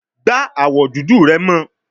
Gba awọ dudu rẹ mọ